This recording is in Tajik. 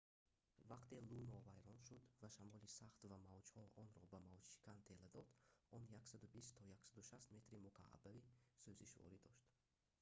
вақте луно вайрон шуд ва шамоли сахт ва мавҷҳо онро ба мавҷшикан тела дод он 120-160 метри мукааби сӯзишворӣ дошт